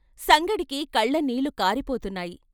సంగడికి కళ్ళనీళ్ళు కారిపోతున్నాయి.